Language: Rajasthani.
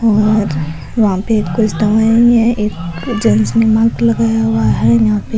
और वहा पे कुछ दवाईया है एक जेंट्स ने मास्क लगाया हुआ है यहां पे।